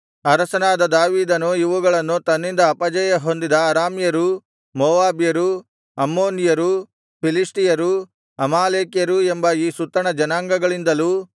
ಅರಸನಾದ ದಾವೀದನು ಇವುಗಳನ್ನು ತನ್ನಿಂದ ಅಪಜಯಹೊಂದಿದ ಅರಾಮ್ಯರೂ ಮೋವಾಬ್ಯರೂ ಅಮ್ಮೋನಿಯರೂ ಫಿಲಿಷ್ಟಿಯರೂ ಅಮಾಲೇಕ್ಯರೂ ಎಂಬ ಈ ಸುತ್ತಣ ಜನಾಂಗಗಳಿಂದಲೂ